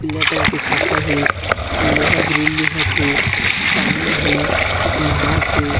पीला कलर की छाता हे लोहा ग्रिल दिखत हे पानी हे नहात हे।